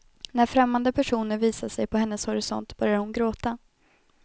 När främmande personer visar sig på hennes horisont börjar hon gråta.